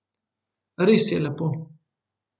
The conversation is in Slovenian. Res je lepo.